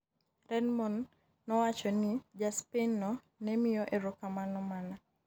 Redmond nowacho ni ja Spain no ne miyo erokamano mana.